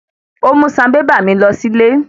Ó mú sanbébà mi lọ sílé.